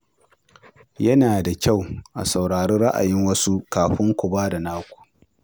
Yana da kyau a saurari ra’ayin wasu kafin ku ba da naku.